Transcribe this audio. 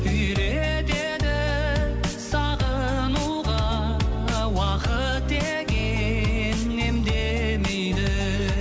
үйретеді сағынуға уақыт деген емдемейді